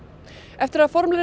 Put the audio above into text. eftir að formlegri